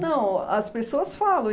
Não, as pessoas falam.